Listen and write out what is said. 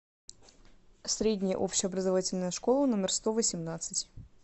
средняя общеобразовательная школа номер сто восемнадцать